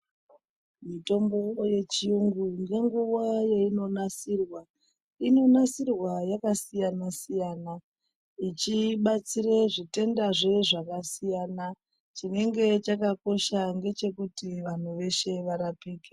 Mitombo yechiyungu ngenguwa yeinonasirwa, inonasirwa yakasiyana siyana zvichibatsire zvitendazve zvakasiyana. Chinenge chakakosha ngechekuti vanhu veshe varapike.